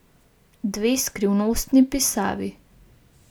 Dve skrivnostni pisavi.